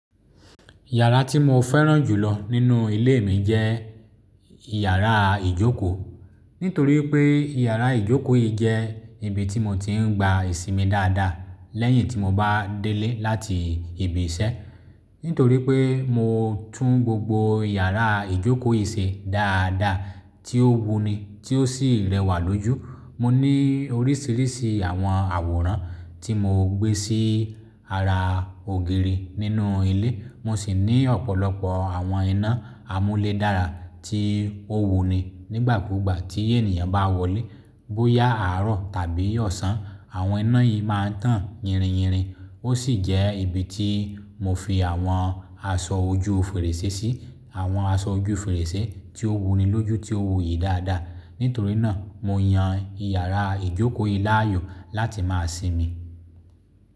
Yàrá tí mo fẹ́ràn jùlọ nínú ilé mi jẹ́ yàrá ìjókòó. Nítorí pé yàrá ìjókòó yìí jẹ́ ibi tí mo ti ń gba ìsinmi dáadáa lẹ́yìn tí mo bá délé láti ibi iṣẹ́. Nítorí pé mo tún gbogbo yàrá ìjókòó yìí ṣe dáadáa, tí ó wuni, tí ó sì rẹwà lójú. Mo ní oríṣiríṣi àwọn àwòrán tí mo gbé sí ara ògiri nínú ilé. Mo sì ní ọ̀pọ̀lọpọ̀ àwọn iná amúlé dára tí ó wuni. Nígbà kúgbà tí ènìyàn bá wọlé, bóyá àárọ̀ tàbí ọ̀sán, àwọn iná yìí máa ń tàn yìrìn yìrìn. Ó sì jẹ́ ibi tí mo fi àwọn aṣọ ojú fèrèsé sí. Àwọn aṣọ ojú fèrèsé tí ó wuni lójú tí ó wuyì dáadáa. Nítorí náà, mo yan yàrá ìjókòó yìí láàyò láti máa sinmi.